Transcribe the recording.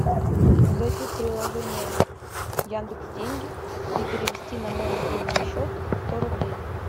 зайти в приложение яндекс деньги и перевести на мой мобильный счет сто рублей